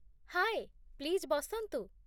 ହାଏ, please ବସନ୍ତୁ ।